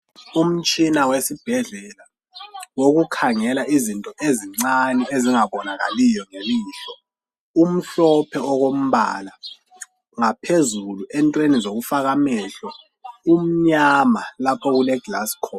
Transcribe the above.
Umtshina wesibhedlela wokukhangela izinto ezincane ezingabonakaliyo ngelihlo umhlophe okombala ngaphezulu entweni zokufaka amehlo kumnyama lapha okuleglass khona